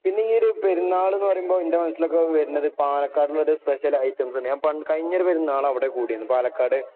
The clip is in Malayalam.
ഈയൊരു പെരുന്നാള് എന്നു പറയുമ്പോൾ എന്റെ മനസ്സിൽ വരുന്നത് പാലക്കാടുള്ളൊരു സ്പഷ്യൽ ഐറ്റംസുണ്ട്. പണ്ട് കഴിഞ്ഞൊരു പെരുന്നാള് അവിടെ കൂടിയിരുന്നു പാലക്കാട്‌.